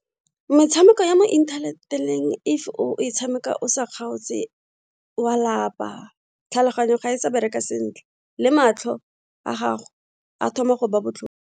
Metshameko ya mo internet-eng if o e tshameka o sa kgaotse wa lapa, tlhaloganyo ga e sa bereka sentle le matlho a gago a thoma go ba botlhoko.